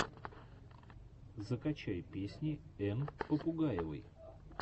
закачай песни энн попугаевой